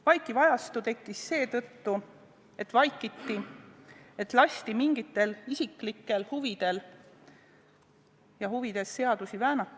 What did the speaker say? Vaikiv ajastu tekkis seetõttu, et vaikiti, et lasti mingites isiklikes huvides seadusi väänata.